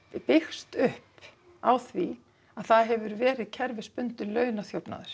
byggst upp á því að það hefur verið kerfisbundinn